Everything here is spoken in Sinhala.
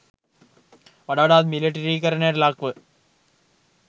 වඩ වඩාත් මිලිටරීකරණයට ලක්ව